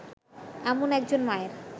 এমন একজন মায়ের